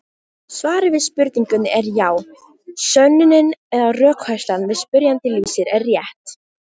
Svarið við spurningunni er já: Sönnunin eða rökfærslan sem spyrjandi lýsir er rétt.